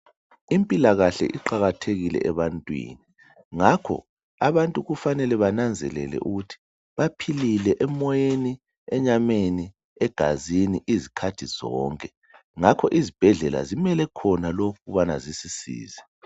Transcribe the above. Impilakahle iqakathekile ebantwini ngakho abantu kufanele bananzelele ukuthi baphilile emoyeni enyameni egazini izikhathi zonke ngakho izibhedlela zimele khona lokhu ukubana zisisize .